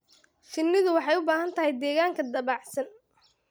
Shinnidu waxay u baahan tahay deegaan dabacsan.